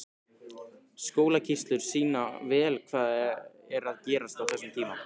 Skólaskýrslur sýna vel hvað er að gerast á þessum tíma.